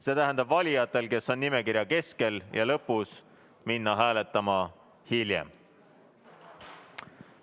See tähendab, et valijatel, kes on nimekirja keskel ja lõpus, tuleks minna hääletama hiljem.